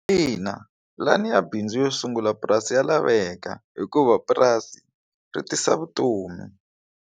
Ina, pulani ya bindzu yo sungula purasi ya laveka hikuva purasi ri tisa vutomi.